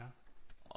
Ja